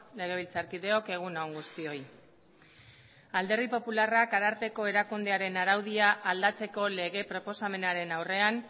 legebiltzarkideok egun on guztioi alderdi popularrak ararteko erakundearen araudia aldatzeko lege proposamenaren aurrean